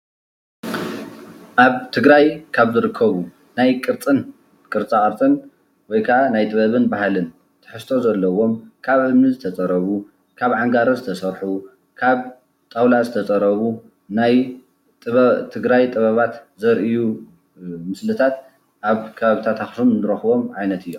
ኣብ ትግራይ ካብ ዝርከቡ ናይ ቅርፅን ፡ቅርፃ ቅርፅን ወይ ኸኣ ጥበብን ባህልን ትሕዝቶ ዘለዎም ካብ እምኒ ዝተፀረቡ፣ ካብ ዓንጋሮ ዝተሰርሑ ፣ካብ ጣውላ ዝተፀረቡ ናይ ትግራይ ጥበባት ዘርእዩ ምስልታት ኣብ ከባብታት ኣኽሱም እንረኽቦም ዓይነት እዮም፡፡